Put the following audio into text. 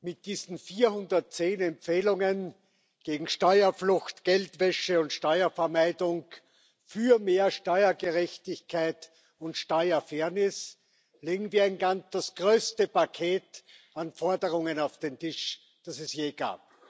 Mit diesen 410 Empfehlungen gegen Steuerflucht, Geldwäsche und Steuervermeidung, für mehr Steuergerechtigkeit und Steuerfairness legen wir das größte Paket an Forderungen auf den Tisch, das es je gab.